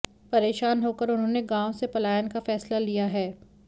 परेशान होकर उन्होंने गांव से पलायन का फैसला लिया है